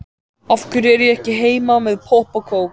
Af hverju er ég ekki heima með popp og kók?